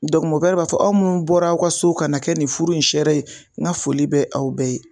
b'a fɔ aw munnu bɔra aw ka so ka na kɛ nin furu in sɛre ye n ka foli bɛ aw bɛɛ ye.